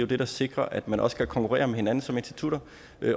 det der sikrer at man også kan konkurrere med hinanden som institutter